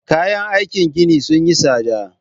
Kayan aikin gini sun yi tsada